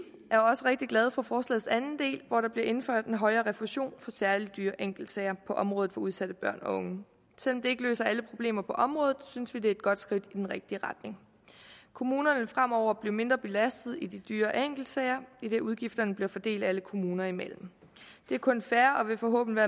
er også rigtig glade for forslagets anden del hvor der bliver indføjet en højere refusion for særlig dyre enkeltsager på området for udsatte børn og unge selv om det ikke løser alle problemer på området synes vi det er et godt skridt i den rigtige retning kommunerne vil fremover blive mindre belastet af de dyre enkeltsager idet udgifterne bliver fordelt alle kommuner imellem det er kun fair og vil forhåbentlig